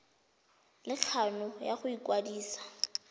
le kgano ya go ikwadisa